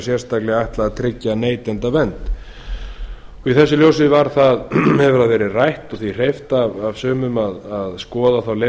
sérstaklega ætlað að tryggja neytendavernd í þessu ljósi hefur það verið rætt og því hreyft af sumum að skoða þá leið